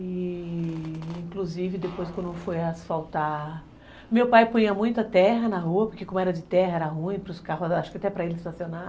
E, inclusive, depois quando eu fui asfaltar... Meu pai punha muito a terra na rua, porque como era de terra, era ruim para os carros, acho que até para ele estacionar.